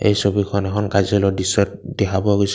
এই ছবিখন এখন কৰ্য্যলয়ৰ দৃশ্যত দেখা পোৱা গৈছে।